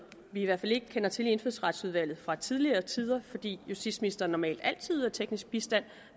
vi i hvert fald ikke kender til i indfødsretsudvalget fra tidligere tider fordi justitsministeren normalt altid yder teknisk bistand